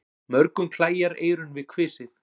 Mörgum klæjar eyrun við kvisið.